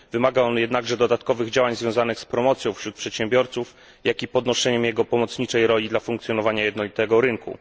Wymaga on jednakże dodatkowych działań związanych z promocją wśród przedsiębiorców, jak i podnoszeniem jego pomocniczej roli dla funkcjonowania jednolitego rynku.